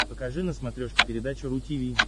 покажи на смотрешке передачу ру ти ви